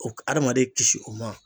O k'a adamaden kisi o ma